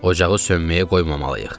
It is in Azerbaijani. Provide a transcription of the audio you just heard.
Ocağı sönməyə qoymamalıyıq.